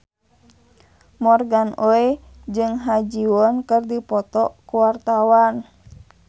Morgan Oey jeung Ha Ji Won keur dipoto ku wartawan